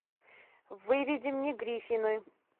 выведи мне гриффины